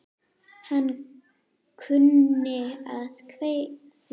Hann kunni að kveðja.